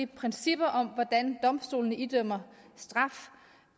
principperne om hvordan domstolene idømmer straf